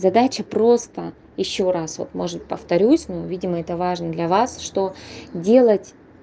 задача просто ещё раз вот может повторюсь ну видимо это важно для вас что делать